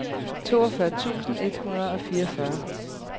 toogfyrre tusind et hundrede og fireogfyrre